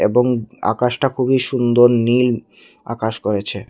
এবং আকাশটা খুবই সুন্দর নীল আকাশ করেছে।